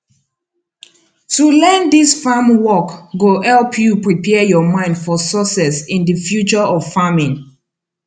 to learn dis farm work go help you prepare your mind for success in di future of farming